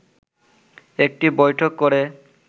একটি বৈঠক করে